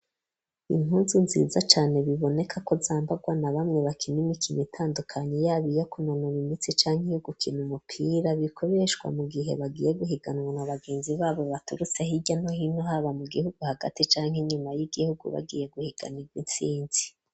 Impuzu nziza cane biboneka ko zambarwa na bamwe bakina imikino itandukanye yaba iyo ku nonora imitsi canke yo gukina umupira bikoreshwa mu gihe bagiye guhiganwa na bagenzi babo baturutse hirya no hino haba mu gihugu hagati canke inyuma y'igihugu bagiye guhiganirwa intsinzi.